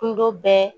Kundo bɛɛ